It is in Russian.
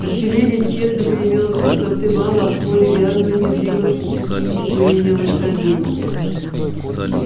артиллерия тщетно гремела с высоты вала а в поле вязла и не двигалась по причине изнурения лошадей